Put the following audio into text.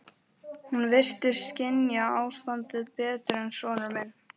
Hún virtist skynja ástandið betur en sonur minn.